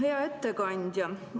Hea ettekandja!